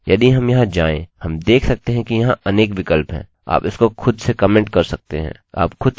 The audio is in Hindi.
ठीक है यदि हम यहाँ जाएँ हम देख सकते हैं कि यहाँ अनेक विकल्प हैं